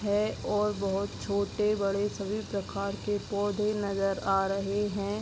है और बहोत छोटे-बड़े सभी प्रकार के पौधे नजर आ रहे हैं।